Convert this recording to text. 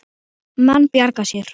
Menn bjarga sér.